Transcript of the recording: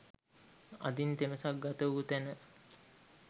අදින් තෙමසක් ගත වූ තැන